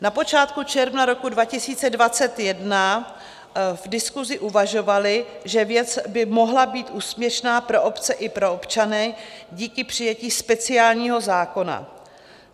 Na počátku června roku 2021 v diskusi uvažovali, že věc by mohla být úspěšná pro obce i pro občany díky přijetí speciálního zákona.